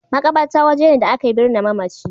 Maƙabarta waje ne da ake birne mamaci.